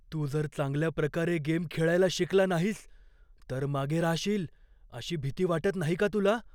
तू जर चांगल्या प्रकारे गेम खेळायला शिकला नाहीस तर मागे राहशील अशी भीती वाटत नाही का तुला?